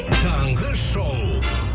таңғы шоу